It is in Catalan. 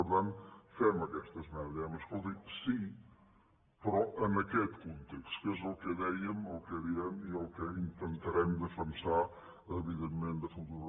per tant fem aquesta esmena diem escolti sí però en aquest context que és el que dèiem el que diem i el que intentarem defensar evidentment de futur